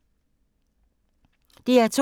DR2